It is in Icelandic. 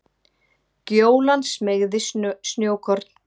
Gjólan smeygði snjókorn